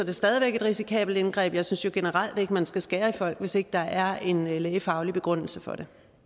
det stadig væk et risikabelt indgreb jeg synes jo generelt ikke at man skal skære i folk hvis ikke der er en lægefaglig begrundelse for